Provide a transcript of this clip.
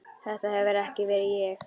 Þetta hefur ekki verið ég?